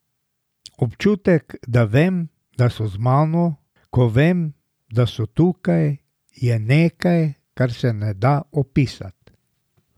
Občutek, da vem, da so z mano, ko vem, da so tukaj, je nekaj, kar se ne da opisat.